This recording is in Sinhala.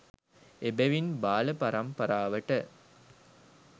එබැවින්, බාල පරම්පරාවට